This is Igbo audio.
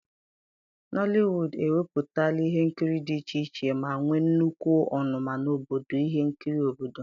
nollywood ewepụtala ihe nkiri dị iche iche ma nwee nnukwu ọnụma n'obodo ihe nkiri obodo